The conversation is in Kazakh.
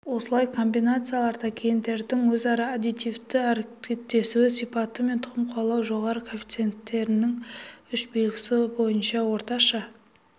осылай комбинацияларда гендердің өзара аддитивті әрекеттесу сипаты мен тұқым қуалаудың жоғары коэффициентінің үш белгісі бойынша орташа